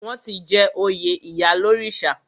Wọ́n ti jẹ oyè ìyálórìṣà.